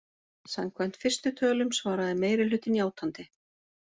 Samkvæmt fyrstu tölum svaraði meirihlutinn játandi